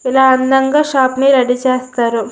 ఇలా అందంగా షాప్ ని రెడీ చేస్తారు.